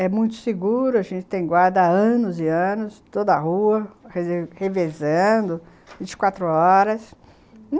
É muito seguro, a gente tem guarda há anos e anos, toda a rua, revezando, vinte e quatro horas.